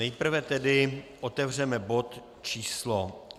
Nejprve tedy otevřeme bod číslo